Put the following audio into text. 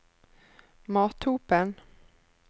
Mathopen